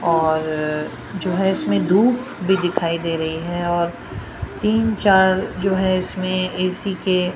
और जो है इसमें धूप भी दिखाई दे रही है और तीन चार जो है इसमें ए_सी के--